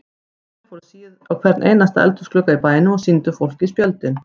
Þeir fóru á hvern einasta eldhúsglugga í bænum og sýndu fólki spjöldin.